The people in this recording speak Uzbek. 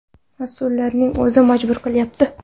Mas’ullarning o‘zi majbur qilyapti.